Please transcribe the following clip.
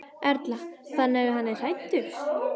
Erla: Þannig að hann er hræddur?